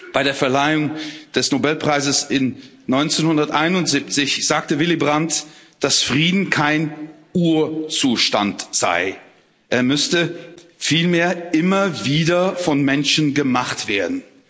Bei der Verleihung des Nobelpreises 1971 sagte Willy Brandt, dass Frieden kein Urzustand sei, er müsste vielmehr immer wieder von Menschen gemacht werden